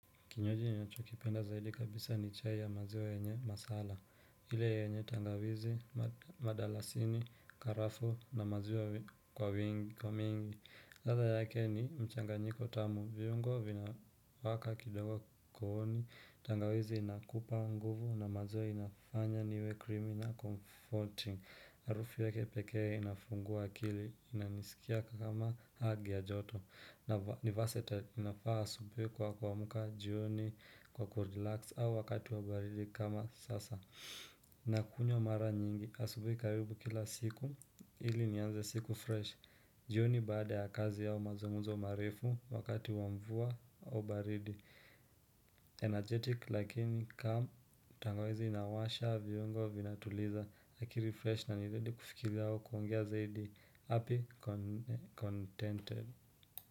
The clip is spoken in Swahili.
Kinywaji ninachokipenda zaidi kabisa ni chai ya maziwa yenye masala. Ile yenye tangawizi, madalasini, karafuu na maziwa kwa mingi. Ladha yake ni mchanganyiko tamu. Viungo vinawaaka kidogo kuooni. Tangawizi inakupa nguvu na maziwa inafanya niwe criminal comforting. Harufu yake pekee inafungua akili inanisikia kama hug ya joto. Na versatile inafaa asubui kwa kuamka jioni kwa kurelax au wakati wa baridi kama sasa Nakunywa mara nyingi asubui karibu kila siku ili nianze siku fresh jioni baada ya kazi au mazungumuzo marefu wakati wa mvua au baridi Energetic lakini calm tangawizi inawasha viungo vinatuliza akili fresh na nizidi kufikiria au kuongea zaidi happy contented.